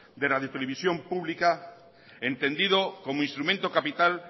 de radiotelevisión pública entendido como instrumento capital